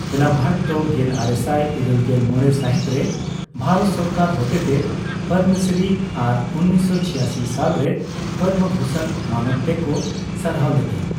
ᱮᱞᱟ ᱵᱷᱟᱴ ᱫᱚ ᱜᱮᱞᱟᱨᱮᱥᱟᱭ ᱤᱨᱟᱹᱞᱜᱮᱞ ᱢᱚᱲᱮ ᱥᱟᱦᱤᱛ ᱨᱮ ᱵᱷᱟᱨᱚᱛ ᱥᱚᱨᱠᱟᱨ ᱦᱚᱛᱮᱛᱮ ᱯᱚᱫᱽᱫᱚᱥᱨᱤ ᱟᱨ ᱑᱙᱘᱖ ᱥᱟᱞ ᱨᱮ ᱯᱚᱫᱽᱫᱚᱵᱷᱩᱥᱚᱱ ᱢᱟᱱᱚᱛ ᱛᱮᱠᱚ ᱥᱟᱨᱦᱟᱣ ᱞᱮᱫᱮᱭᱟ ᱾